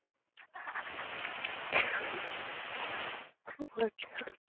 খুব হয়েছে।